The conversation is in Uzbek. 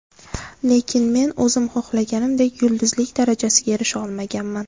Lekin men o‘zim xohlaganimdek yulduzlik darajasiga erisha olmaganman.